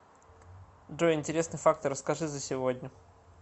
джой интересные факты расскажи за сегодня